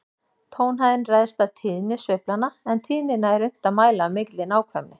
Tónhæðin ræðst af tíðni sveiflanna, en tíðnina er unnt að mæla af mikilli nákvæmni.